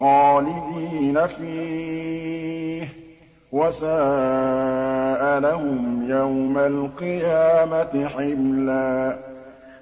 خَالِدِينَ فِيهِ ۖ وَسَاءَ لَهُمْ يَوْمَ الْقِيَامَةِ حِمْلًا